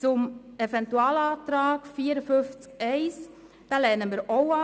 Den Eventualantrag zu Artikel 54 Absatz 1 lehnen wir auch ab.